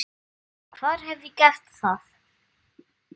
Hvar hef ég gert það?